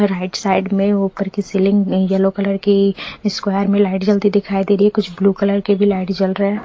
और right side में यु कर के सेलिंग नहीं येलो कलर की स्क्वायर में लाइट जलती हुई दिखाई दे रही है कुछ ब्लू कलर की भी लाइट जल रहा है।